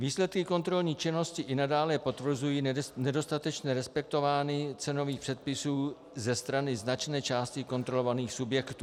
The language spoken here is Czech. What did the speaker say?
Výsledky kontrolní činnosti i nadále potvrzují nedostatečné respektování cenových předpisů ze strany značné části kontrolovaných subjektů.